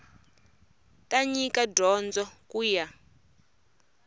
ta nyika dyondzo ku ya